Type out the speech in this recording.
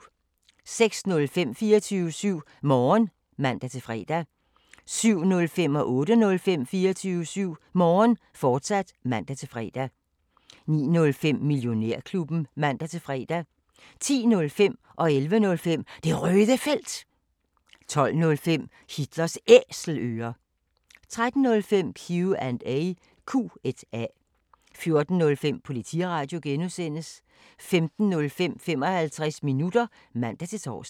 06:05: 24syv Morgen (man-fre) 07:05: 24syv Morgen, fortsat (man-fre) 08:05: 24syv Morgen, fortsat (man-fre) 09:05: Millionærklubben (man-fre) 10:05: Det Røde Felt 11:05: Det Røde Felt, fortsat 12:05: Hitlers Æselører 13:05: Q&A 14:05: Politiradio (G) 15:05: 55 minutter (man-tor)